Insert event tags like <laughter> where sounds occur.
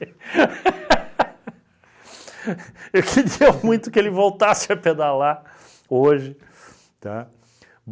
<laughs> <laughs> Eu queria muito que ele voltasse a pedalar hoje, tá?